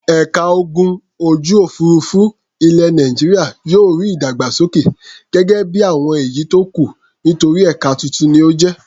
Ẹ̀ka ogun ojú-òfurufú ilẹ̀ Nàìjíríà yóò rí ìdàgbàsókè gẹ́gẹ́ bí àwọn èyí tó kù nítorí ẹ̀ka tuntun ni ó jẹ́.